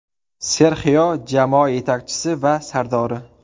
Serxio jamoa yetakchisi va sardori.